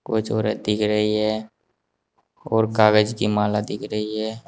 कुछ औरत दिख रही है और कागज की माला दिख रही है।